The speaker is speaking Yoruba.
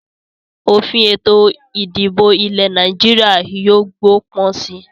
Òfin Ètò ìdìbò ilẹ̀ Nàìjíríà yìí ó gbó pọ̀n síí